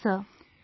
Yes sir